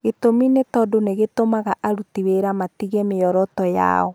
Gĩtũmi nĩ tondũ nĩ gĩtũmaga aruti wĩra matige mĩoroto yao.